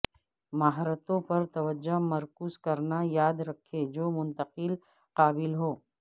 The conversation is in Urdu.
مہارتوں پر توجہ مرکوز کرنا یاد رکھیں جو منتقلی قابل ہو